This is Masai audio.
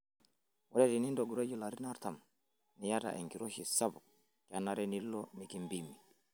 Ore tenintogiroyie larin artam niyata enkiroshi sapuk, kenare nilo mikimpimi.